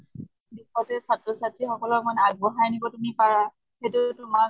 দিশতে ছাত্ৰ ছাত্ৰী সকলক মানে আগ বঢ়াই নিবলৈ তুমি পাৰা সেইটো তোমাৰ